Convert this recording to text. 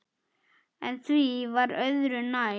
En því var öðru nær.